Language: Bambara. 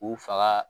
U faga